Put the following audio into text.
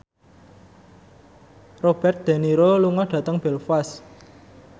Robert de Niro lunga dhateng Belfast